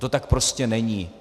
To tak prostě není.